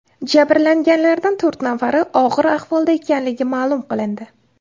Jabrlanganlardan to‘rt nafari og‘ir ahvolda ekanligi ma’lum qilindi.